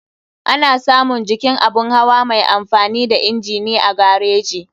Ana samun jikin abun hawa mai amfani da inji ne a gareji.